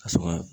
Ka sɔrɔ